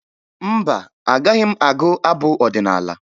Mba, agaghị m agụ abụ ọdịnaala